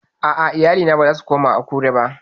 A'a, iyalina ba za su koma Akure ba